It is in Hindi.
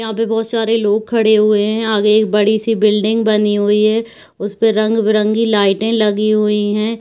यहाँ पे बहोत सारे लोग खड़े हुए हैं आगे एक बड़ी सी बिल्डिंग बनी हुई हैं उसपे रंग बिरंगी लाइटें लगी हुईं है।